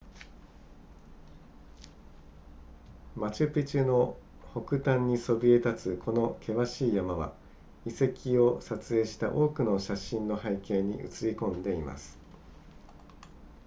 マチュピチュの北端にそびえ立つこの険しい山は遺跡を撮影した多くの写真の背景に映りこんでいます